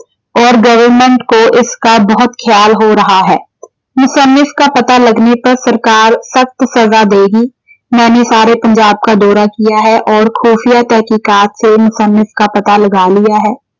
ਔਰ government ਕੋ ਇਸਕਾ ਬਹੁਤ ਖਿਆਲ ਹੋ ਰਹਾ ਹੈ। ਕਾ ਪਤਾ ਲਗਨੇ ਪਰ ਸਰਕਾਰ ਸਖਤ ਸਜ਼ਾ ਦੇਗੀ। ਮੈਨੇ ਸਾਰੇ ਪੰਜਾਬ ਕਾ ਦੌਰਾ ਕੀਆ ਹੈ ਔਰ ਖੂਫੀਆ ਤਹਿਕੀਕਾਤ ਸੇ ਕਾ ਪਤਾ ਲਗਾ ਲਿਆ ਹੈ।